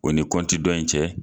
O ni kɔnti dɔ in cɛ